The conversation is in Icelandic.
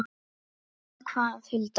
Eða hvað, Hulda?